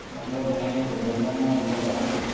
എവിടെ പെരുന്തണ്ണ വെമ്മൂരാ